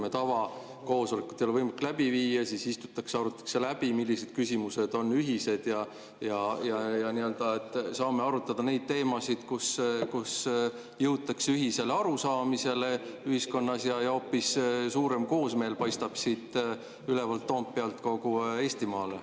Kui tavakoosolekut ei ole võimalik läbi viia, siis istutakse, arutatakse läbi, millised küsimused on ühised, me saame arutada neid teemasid, jõutakse ühisele arusaamisele ühiskonnas ja hoopis suurem koosmeel paistab siit ülevalt Toompealt kogu Eestimaale.